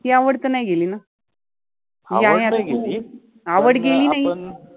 ती आवड त नाहि गेलि न, आवड नाहि गेलि, आवड गेलि नाइ